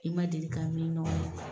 I ma deli ka min'i nɔ